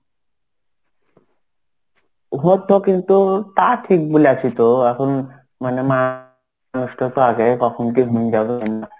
হতো কিন্তু তা ঠিক বলেছি তো এখন মানে মানুষ টা তো আগে কখন কি হয়েন যাবে .